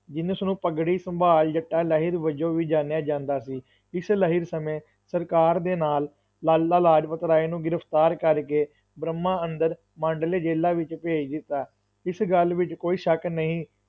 ਜਿਨਸ ਨੂੰ ਪੱਗੜੀ ਸੰਭਾਲ ਜੱਟਾ ਲਹਿਰ ਵਜੋਂ ਵੀ ਜਾਣਿਆ ਜਾਂਦਾ ਸੀ, ਇਸ ਲਹਿਰ ਸਮੇਂ ਸਰਕਾਰ ਦੇ ਨਾਲ ਲਾਲਾ ਲਾਜਪਤਰਾਏ ਨੂੰ ਗ੍ਰਿਫਤਾਰ ਕਰਕੇ ਬਰਮਾ ਅੰਦਰ ਮਾਂਡਲੇ ਜੇਲਾਂ ਵਿੱਚ ਭੇਜ ਦਿੱਤਾ, ਇਸ ਗੱਲ ਵਿੱਚ ਕੋਈ ਸ਼ੱਕ ਨਹੀਂ,